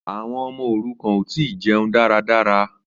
Àwọn ọmọ òrukàn ò tí ì jẹnu dáradára